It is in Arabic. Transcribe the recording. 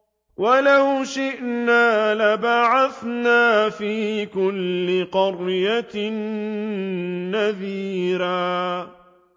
وَلَوْ شِئْنَا لَبَعَثْنَا فِي كُلِّ قَرْيَةٍ نَّذِيرًا